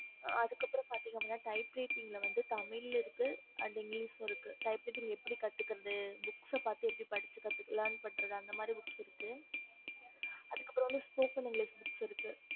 okey meadam okay mam